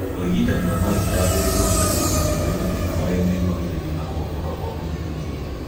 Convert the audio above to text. ũrigitani wa mahĩndĩ wagĩrĩirwo nĩ gũkuruhanio harĩ mathĩna marĩa meyumagĩria na kũgonyoka kwa mũnyiginyigi